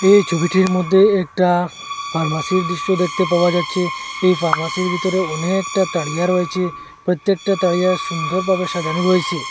এই ছবিটির মধ্যে একটা ফার্মাসির দৃশ্য দেখতে পাওয়া যাচ্ছে এই ফার্মাসির ভিতরে অনেকটা তারিয়া রয়েছে প্রত্যেকটা তারিয়া সুন্দর ভাবে সাজানো রয়েসে।